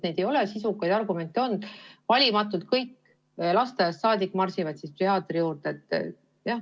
Ei ole sisukaid argumente esitatud, miks peaksid valimatult kõik lasteaiast saadik saama marssida psühhiaatri juurde.